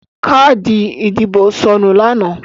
Káàdì ìdìbò sọnù lánàá.